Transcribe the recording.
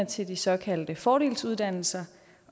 til de såkaldte fordelsuddannelser